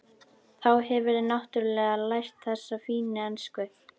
Þá hefurðu náttúrlega lært þessa fínu ensku!